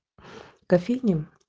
кофейни